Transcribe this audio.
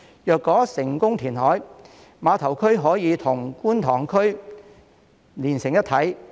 如果成功填海，碼頭區將可與觀塘區連成一體。